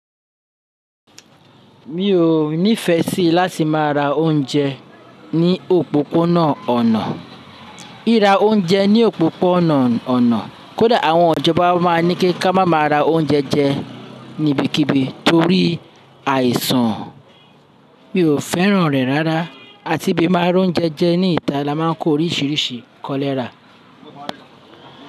Mi ò, mi fẹ́ sì láti má ra oúnjẹ ní òpópónà ọ̀nà. Ríra oúnjẹ ní òpópónà ọ̀nà, kódà àwọn ìjọba máa ní kí ka má má ra oúnjẹ jẹ ní ibikíbi torí àìsàn. Mi ò fẹ́ràn rẹ̀ rárá, àti bí a bá máa róúnjẹ jẹ ní ìta, a máà ń kó oríṣìíríṣìí kọlẹ́ra.